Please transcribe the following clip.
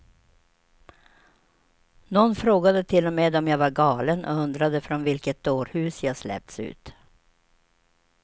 Någon frågade till och med om jag var galen och undrade från vilket dårhus jag släppts ut.